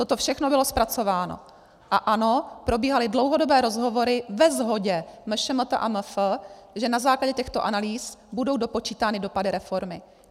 Toto všechno bylo zpracováno a ano, probíhaly dlouhé rozhovory ve shodě MŠMT a MF, že na základě těchto analýz budou dopočítány dopady reformy.